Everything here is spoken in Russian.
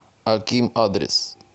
аким адрес